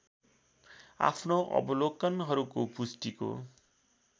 आफ्नो अवलोकनहरूको पुष्टिको